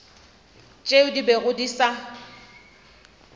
tšeo di bego di sa